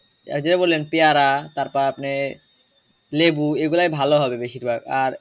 এই যে বললেন পেয়ারা তারপর আপনি লেবু এগুলা ভালো হবে বেশির ভাগ আর